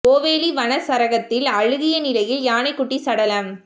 ஓவேலி வனச் சரகத்தில் அழுகிய நிலையில் யானைக் குட்டி சடலம்